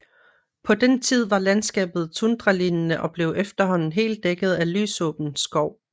På den tid var landskabet tundralignende og blev efterhånden helt dækket af lysåben skov